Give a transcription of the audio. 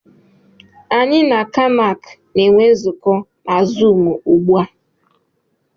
Anyị na Kanac na-enwe nzukọ na zụụmu ugbu a.